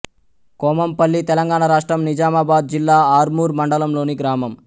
కొమంపల్లి తెలంగాణ రాష్ట్రం నిజామాబాద్ జిల్లా ఆర్మూర్ మండలంలోని గ్రామం